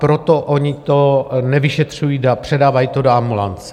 Proto oni to nevyšetřují a předávají to do ambulance.